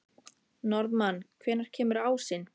Norðmann, hvenær kemur ásinn?